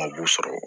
Ma b'u sɔrɔ